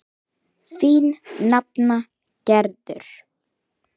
Enginn hvinur, aðeins stöku dynkir.